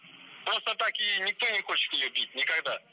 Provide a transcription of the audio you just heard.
просто так ее никто не хочет ее бить никогда